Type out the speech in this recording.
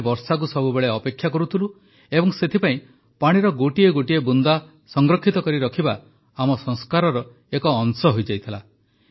ଆମେ ବର୍ଷାକୁ ସବୁବେଳେ ଅପେକ୍ଷା କରୁଥିଲୁ ଏବଂ ସେଥିପାଇଁ ପାଣିର ଗୋଟିଏ ଗୋଟିଏ ବୁନ୍ଦା ସଂରକ୍ଷିତ କରି ରଖିବା ଆମ ସଂସ୍କାରର ଏକ ଅଂଶ ହୋଇଯାଇଥିଲା